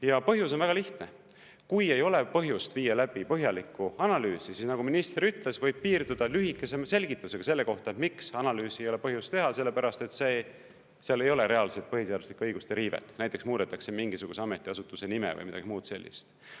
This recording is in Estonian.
Ja põhjus on väga lihtne: kui ei ole põhjust viia läbi põhjaliku analüüsi, siis, nagu minister ütles, võib piirduda lühikese selgitusega selle kohta, miks analüüsi ei ole põhjust teha, sellepärast et seal ei ole reaalselt põhiseaduslike õiguste riivet, näiteks muudetakse mingisuguse ametiasutuse nime või midagi muud sellist.